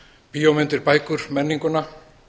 bíómyndir bækur menninguna